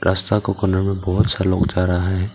रस्ता का कार्नेर में बहोत सारा लोग जा रहा हैं।